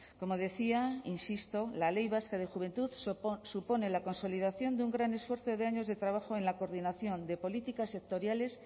como decía insisto la ley vasca de juventud supone la consolidación de un gran esfuerzo de años de trabajo en la coordinación de políticas sectoriales